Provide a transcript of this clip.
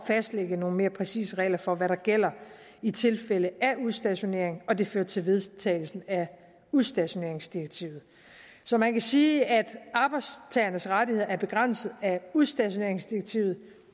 fastsætte nogle mere præcise regler for hvad der gælder i tilfælde af udstationering og det førte til vedtagelsen af udstationeringsdirektivet så man kan sige at arbejdstagernes rettigheder er begrænset af udstationeringsdirektivet